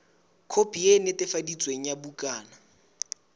khopi e netefaditsweng ya bukana